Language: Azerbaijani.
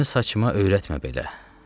Əlimi saçıma öyrətmə belə.